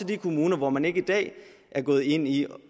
de kommuner hvor man ikke i dag er gået ind i